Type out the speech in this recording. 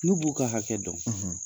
N'u b'u ka hakɛ dɔn